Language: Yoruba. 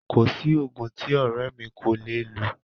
Kò sí oògùn tí ọrẹ mi kò le è lọ.